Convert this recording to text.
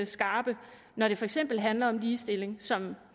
skarpe når det for eksempel handler om ligestilling som